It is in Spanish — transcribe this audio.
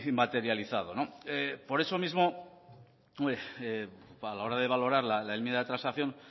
materializado por eso mismo hombre a la hora de valorar la enmienda de transacción